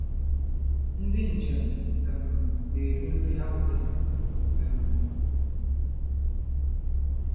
Ndị njem um na-eri nri ha wetara. um